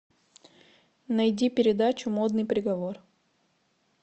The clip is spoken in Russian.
найди передачу модный приговор